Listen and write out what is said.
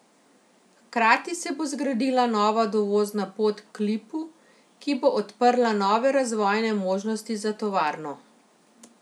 Hkrati se bo zgradila nova dovozna pot k Lipu, ki bo odprla nove razvojne možnosti za tovarno.